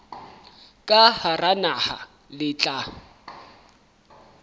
ka hara naha le tla